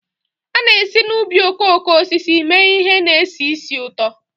A na-esi n'ubi okooko osisi mee ihe na-esi ísì ụtọ